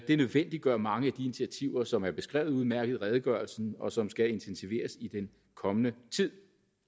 det nødvendiggør mange af de initiativer som er beskrevet udmærket i redegørelsen og som skal intensiveres i den kommende tid